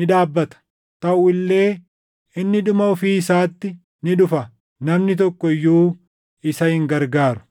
ni dhaabbata. Taʼu illee inni dhuma ofii isaatti ni dhufa; namni tokko iyyuu isa hin gargaaru.